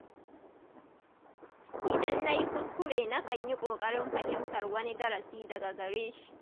Idan na yi kuskure nakan yi ƙoƙarin fahimtar wani darasi daga gare shi.